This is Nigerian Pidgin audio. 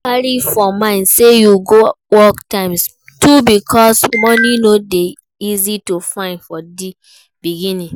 Carry for mind say you go work times two because money no de easy to find for di beginning